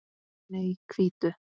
Nei, hvítu.